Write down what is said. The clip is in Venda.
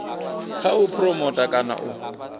kha u phuromotha kana u